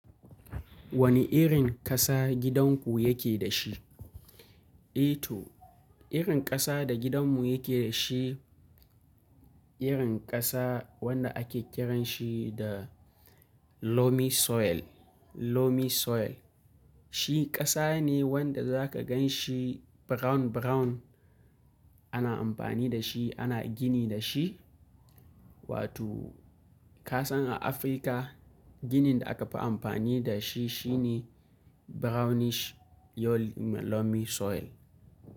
Wane irin ƙasa gidanku yake da shi? E to irin ƙasa da gidanmu yake da shi, irin ƙasa wanda ake kiranshi da loamy soil, loamy soil. Shi ƙasa ne wanda zaka gan shi brown brown. Ana amfani da shi, ana gini da shi. Wato kasan a Afirka ginin da aka fi amfani da shi shine brownish loamy soil.